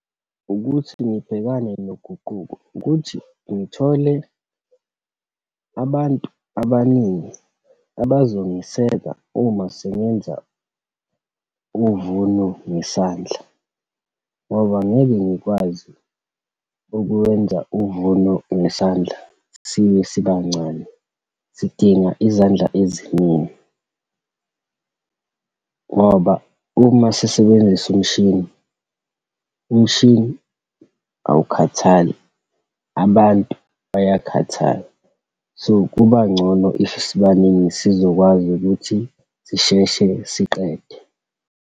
Ukuthi ngibhekane noguquko, ukuthi ngithole abantu abaningi abazongiseka uma sengenza uvuno ngesandla, ngoba angeke ngikwazi ukuwenza uvuno ngesandla, sibe sibancane, sidinga izandla eziningi. Ngoba uma sisebenzisa umshini, umshini awukhathali, abantu bayakhathala. So, kuba ngcono if sibaningi, sizokwazi ukuthi sisheshe siqede.